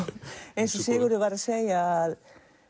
eins og Sigurður var að segja